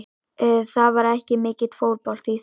Það var ekki mikill fótbolti í þessu.